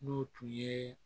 N'o tun ye